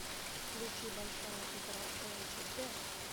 включи большая игра эйч дэ